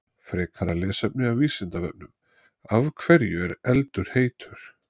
Frekara lesefni af Vísindavefnum: Af hverju er eldur heitur?